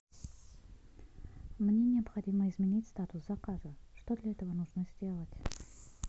мне необходимо изменить статус заказа что для этого нужно сделать